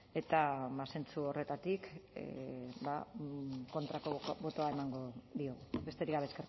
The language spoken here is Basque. eta ba zentzu horretatik kontrakoa botoa emango diot besterik gabe